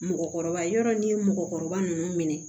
Mɔgɔkɔrɔba yɔrɔ ni mɔgɔkɔrɔba nunnu minɛ